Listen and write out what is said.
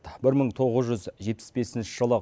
бір мың тоғыз жүз жетпіс бесінші жылы